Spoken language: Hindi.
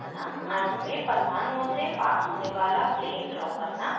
अणु में परमाणुओं से पास होने वाला plane draw करना